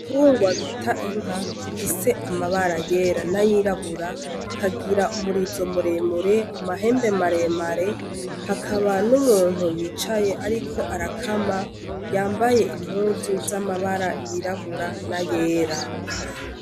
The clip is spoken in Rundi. Igitungwa bita inka gifise amabara yera n'ayirabura ikagira umurizo muremure, amahembe maremare hakaba n'umuntu yicaye ariko arakama yambaye impuzu z'amabara y'irabura n'ayera.